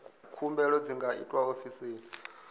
khumbelo dzi nga itwa ofisini